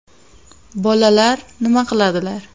Bolalar (ega), nima qiladilar?